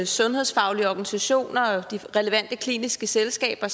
sundhedsfaglige organisationer og de relevante kliniske selskaber